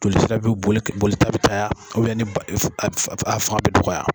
Joli sira bɛ boli boli ka bɛ caya ni b'a af a fanga bɛ dɔgɔ ya.